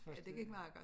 Ja det gik meget godt